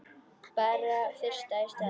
Bara fyrst í stað.